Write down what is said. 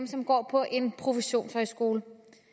som går på en professionshøjskole